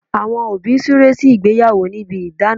Àwọn òbí súre sí ìgbéyàwó níbi idana